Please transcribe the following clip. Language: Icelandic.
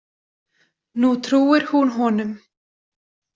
Nú trúir hún honum.